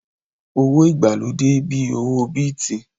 Owó ìgbàlódé bíi owó Bíìtì